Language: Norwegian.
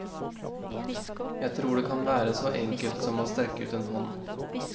Jeg tror det kan være så enkelt som å strekke ut en hånd.